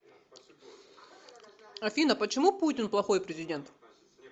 афина почему путин плохой президент